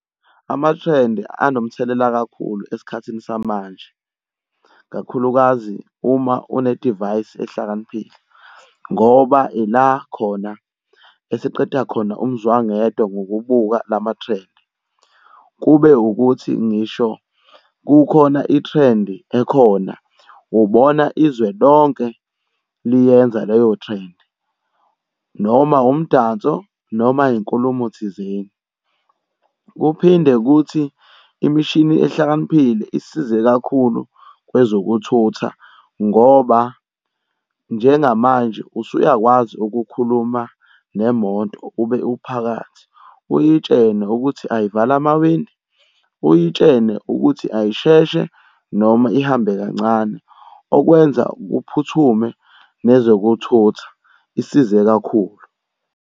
Amathrendi anomthelela kakhulu esikhathini samanje, kakhulukazi uma unedivayisi ehlakaniphile, ngoba ila khona esiqeda khona umzwangedwa ngokubuka la mathrendi. Kube ukuthi ngisho kukhona ithrendi ekhona, ubona izwe lonke liyenza leyo threndi, noma umdanso noma inkulumo thizeni. Kuphinde kuthi imishini ehlakaniphile isize kakhulu kwezokuthutha ngoba njengamanje usuyakwazi ukukhuluma nemoto ube uphakathi uyitshene ukuthi ayivale amawindi, uyitshene ukuthi uyisheshe, noma ihambe kancane. Okwenza kuphuthume nezokuthutha, isize kakhulu.